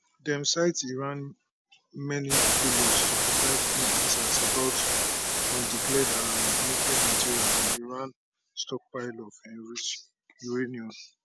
dem cite iran many failures to provide full answers about undeclared um nuclear material and iran stockpile of enriched uranium